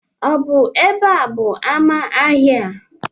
Ọ bụ ebe a bụ amá ahịa a?